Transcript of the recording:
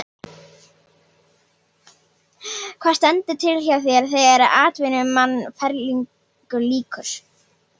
Hvað stendur til hjá þér þegar atvinnumannaferlinum lýkur?